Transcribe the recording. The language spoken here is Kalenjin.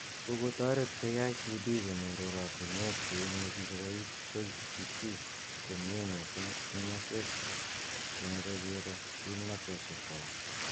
Kokotaret KICD konyor oratunwek cheimuchi kobois KEC komnye mising eng maswek chemeche kiro kimnatoshek kwak